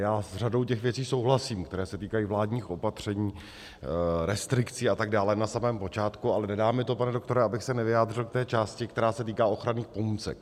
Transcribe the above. Já s řadou těch věcí souhlasím, které se týkají vládních opatření, restrikcí atd. na samém počátku, ale nedá mi to, pane doktore, abych se nevyjádřil k té části, která se týká ochranných pomůcek.